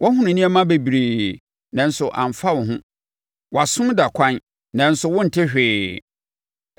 Woahunu nneɛma bebree, nanso amfa wo ho; Wʼasom da ɛkwan, nanso wonte hwee.”